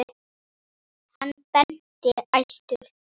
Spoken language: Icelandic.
Hann benti æstur.